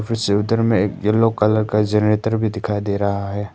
चित्र में एक येलो कलर का जनरेटर भी दिखाई दे रहा है।